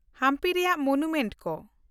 ᱦᱟᱢᱯᱤ ᱨᱮᱭᱟᱜ ᱢᱚᱱᱩᱢᱮᱱᱴ ᱠᱚ